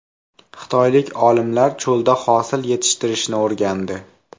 Xitoylik olimlar cho‘lda hosil yetishtirishni o‘rgandi.